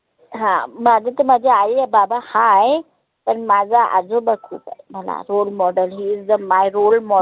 हा माझत माझे आई या बाबा हाय पन माझा आजोबा खुप आहे. मला role model he is the my role model